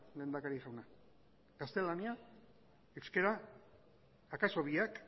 lehendakari jauna gaztelania euskera akaso biak